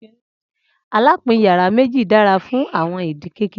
alapin yara meji dara fun awọn idil kekere